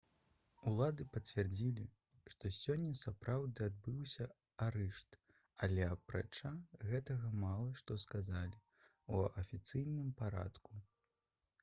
улады пацвердзілі што сёння сапраўды адбыўся арышт але апрача гэтага мала што сказалі ў афіцыйным парадку